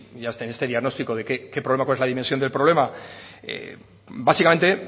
este diagnóstico de qué problema cuál es la dimensión del problema básicamente